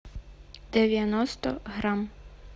девяносто грамм